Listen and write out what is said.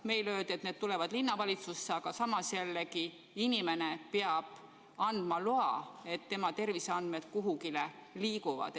Meile öeldi, et need tulevad linnavalitsusse, aga samas inimene peab andma loa, et tema terviseandmed kuhugi liiguvad.